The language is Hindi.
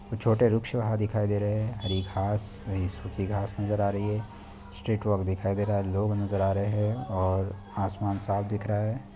छोटे रिक्शे वहा दिखाई दे रहे है हरी घास सुखी घास वहा नजर आ रहे हैं स्ट्रेट वर्क दिखाए दे रहे हैं लोग नजर आ रहे हैं और आसमान साफ दिख रहा है।